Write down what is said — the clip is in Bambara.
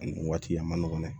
Ani nin waati a ma nɔgɔn dɛ